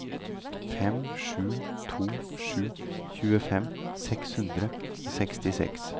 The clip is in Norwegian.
fem sju to sju tjuefem seks hundre og sekstiseks